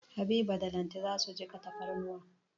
Habiba da Lanti za su jiƙa tafarnuwa.